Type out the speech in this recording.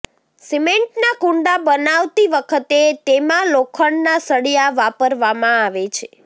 સિમેન્ટના કુંડા બનાવતી વખતે તેમાં લોખંડના સળિયા વાપરવામાં આવે છે